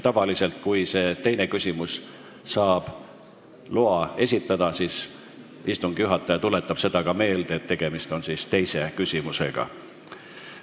Tavaliselt on nii, et kui saadakse luba see teine küsimus esitada, siis istungi juhataja tuletab ka meelde, et tegemist on teise küsimusega.